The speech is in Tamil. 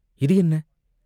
"இது என்ன?